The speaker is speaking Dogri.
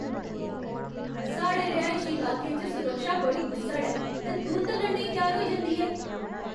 साढ़े रिहाइशी लाके च सुरक्षा बड़ी गुस्सड़ ऐ ते तुर्त लड़ने ई त्यार होई जंदी ऐ।